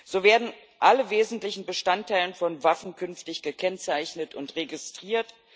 So werden alle wesentlichen Bestandteile von Waffen künftig gekennzeichnet und registriert.